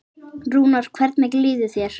Rúnar, hvernig líður þér?